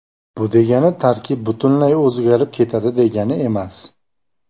Bu degani tarkib butunlay o‘zgarib ketadi degani emas.